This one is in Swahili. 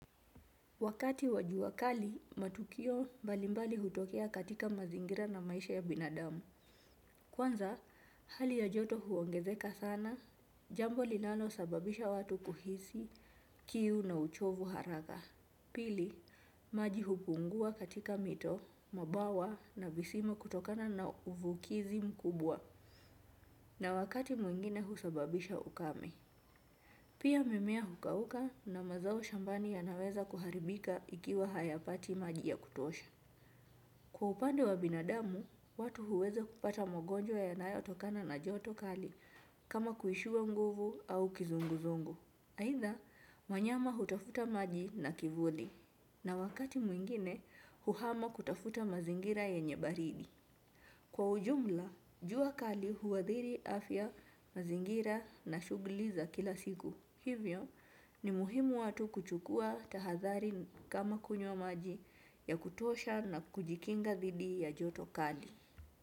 Wakati wajuakali, matukio mbalimbali hutokea katika mazingira na maisha ya binadamu. Kwanza, hali ya joto huongezeka sana, jambo linalo sababisha watu kuhisi, kiu na uchovu haraka. Pili, maji hupungua katika mito, mabawa na visima kutokana na uvukizi mkubwa. Na wakati mwingine husababisha ukame. Pia mimea hukauka na mazao shambani ya naweza kuharibika ikiwa haya pati maji ya kutosha. Kwa upande wa binadamu, watu huweza kupata magonjwa yanayotokana na joto kali kama kuishiwa nguvu au kizunguzungu. Aidha, wanyama hutafuta maji na kivuli. Na wakati mwingine, huhama kutafuta mazingira yenye baridi. Kwa ujumla, jua kali huwadhiri afya mazingira na shughuli za kila siku. Hivyo ni muhimu watu kuchukua tahathari kama kunywa maji ya kutosha na kujikinga dhidi ya joto kali.